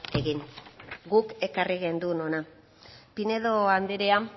egin guk ekarri genuen hona pinedo andrea